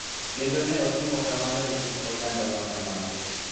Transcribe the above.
Kendo ne otimo kamano e kind oganda ma kamago.